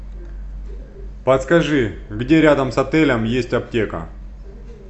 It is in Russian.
подскажи где рядом с отелем есть аптека